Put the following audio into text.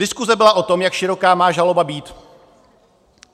Diskuse byla o tom, jak široká má žaloba být.